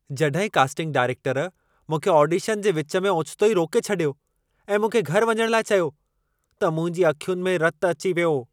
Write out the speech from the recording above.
जॾहिं कास्टिंग डायरेक्टरु मूंखे ऑडिशन जे विच में ओचितो ई रोके छॾियो ऐं मूंखे घर वञणु लाइ चयो, त मुंहिंजी अखियुनि में रतु अची वियो।